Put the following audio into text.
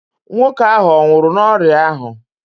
Nwoke ahụ ọ nwụrụ n'ọrịa ahụ?